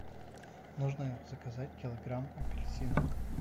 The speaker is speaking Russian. нужно заказать килограмм апельсинов